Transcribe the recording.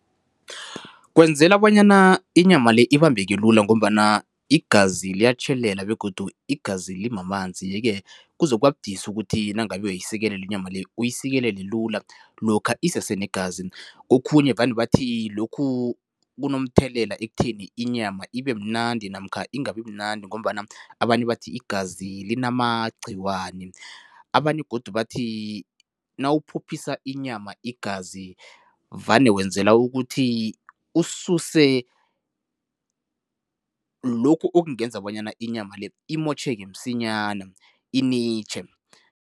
Kwenzela bonyana inyama le ibambeke lula ngombana igazi liyatjhelela begodu igazi limamanzi yeke kuzokubabudisi ukuthi nangabe uyayisikelela inyama le uyisikelele lula, lokha isesenegazi. Kokhunye vane bathi lokhu kunomthelela ekutheni inyama ibemnandi namkha ingabimnandi ngombana abanye bathi igazi linamagcikwane, abanye godu bathi nawuphophisa inyama igazi vane wenzela ukuthi ususe lokhu okungenza bonyana inyama le imitjhoke msinyana, initjhe.